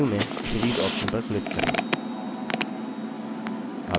menu में series option पर click करें